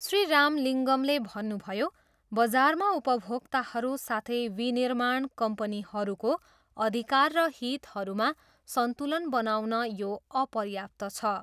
श्री राम लिङ्गमले भन्नुभयो, बजारमा उपभोक्ताहरू साथै विनिर्माण कम्पनीहरूको अधिकार र हितहरूमा सन्तुलन बनाउन यो अपर्याप्त छ।